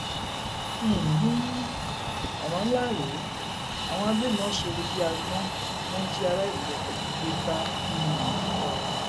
um ọràn ńlá rèé àwọn agbébọn sọrọ bíi àgbọn wọn jí aráàlú rẹpẹtẹ gbé sá um lọ